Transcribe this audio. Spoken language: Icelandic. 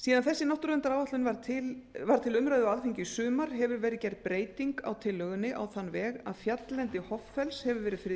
síðan þessi náttúruverndaráætlun var til umræðu á alþingi í sumar hefur verið gerð breyting á tillögunni á þann veg að fjalllendi hoffells hefur verið friðlýst